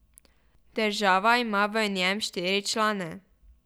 Država ima v njem štiri člane.